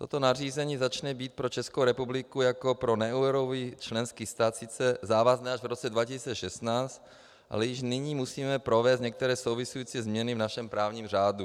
Toto nařízení začne být pro Českou republiku jako pro neeurový členský stát sice závazné až v roce 2016, ale již nyní musíme provést některé související změny v našem právním řádu.